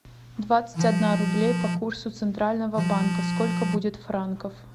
двадцать одна рублей по курсу центрального банка сколько будет франков